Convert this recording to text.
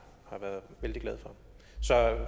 har været vældig glad for så